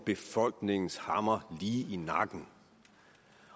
befolkningens hammer lige i nakken